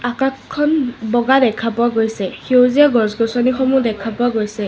আকাশখন বগা দেখা পোৱা গৈছে সেউজীয়া গছ-গছনি সমূহ দেখা পোৱা গৈছে।